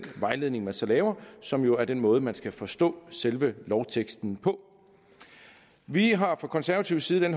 vejledning man så laver som jo er den måde man skal forstå selve lovteksten på vi har fra konservativ side